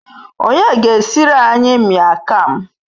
Onye ga Eskridge anyi Mian Kham